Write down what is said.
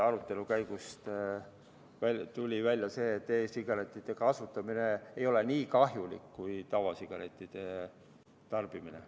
Arutelu käigus tuli välja, et e-sigarettide kasutamine ei ole nii kahjulik kui tavasigarettide tarbimine.